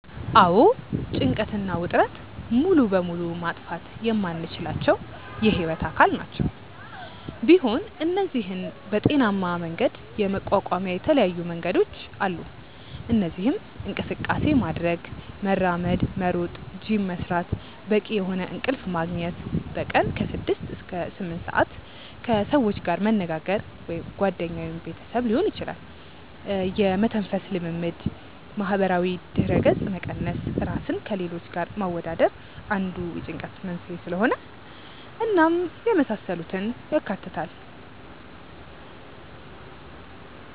አዎ ጭንቀት እና ውጥረት ሙሉ በሙሉ ማጥፋት የማንችላቸው የህይወት አካል ናቸው፤ ቢሆን እነዚህን በጤናሜ መንገድ የመቋቋሚያ የተለያዩ መንገዶች አሉ። እነዚህም እንቅስቃሴ ማድረግ( መራመድ፣ መሮጥ፣ ጂም መስራት)፣ በቂ የሆነ እንቅልፍ መግኘት( በቀን ከ6-8ሰአት)፣ ከሰዎች ጋር መነጋገር( ጓደኛ ወይም ቤተሰብ ሊሆን ይችላል)፣ የመተንፈስ ልምምድ፣ ማህበራዊ ድረገጽ መቀነስ( ራስን ከሌሎች ጋር ማወዳደር አንዱ የጭንቀት መንስኤ ስለሆነ) እናም የመሳሰሉትን ያካትታል።